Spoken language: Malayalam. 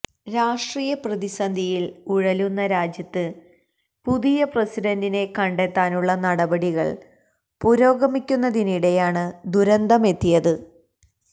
രാഷ്ട്രീയ പ്രതിസന്ധിയിൽ ഉഴലുന്ന രാജ്യത്ത് പുതിയ പ്രസിഡന്റിനെ കണ്ടെത്താനുള്ള നടപടികൾ പുരോഗമിക്കുന്നതിനിടെയാണ് ദുരന്തമെത്തിയത്